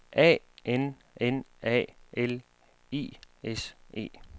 A N N A L I S E